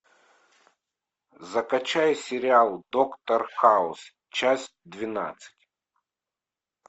закачай сериал доктор хаус часть двенадцать